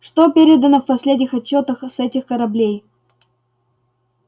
что передано в последних отчётах с этих кораблей